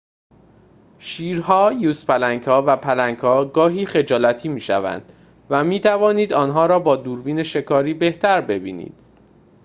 شیرها یوزپلنگ‌ها و پلنگ‌ها گاهی خجالتی می‌شوند و می‌توانید آنها را با دوربین شکاری بهتر ببینید